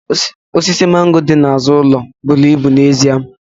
Osisi mango dị n'azụ ụlọ buru ibu n'ezie